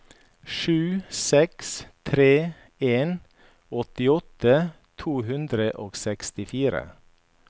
sju seks tre en åttiåtte to hundre og sekstifire